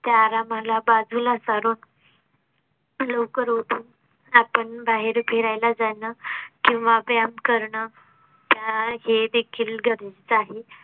त्या रामा ला बाजूला सारून. लवकर उठून आपण बाहेर फिरायला जाणं किंवा व्यायाम करणं त्या हेदेखील गरजेचे आहे.